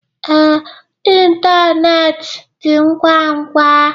Ee, ịntanetị dị ngwa ngwa